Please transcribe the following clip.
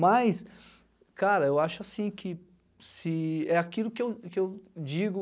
Mas, cara, eu acho assim que se é aquilo que eu que eu digo